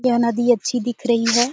यह नदी अच्छी दिख रही हैं।